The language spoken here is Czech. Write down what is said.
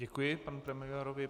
Děkuji panu premiérovi.